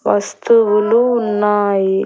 వస్తువులు ఉన్నాయి.